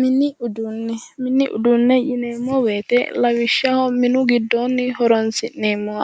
Mini uduune mini uduune yineemo woyite lawishshaho minu gidoonni horonisi'neemo